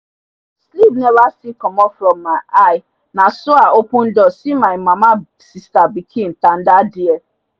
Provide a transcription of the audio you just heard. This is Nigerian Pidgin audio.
sleep neva still comot from mi eye naso i open door see my mama sista pinkin tanda dere